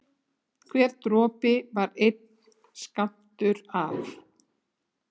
Hver dropi var einn skammtur af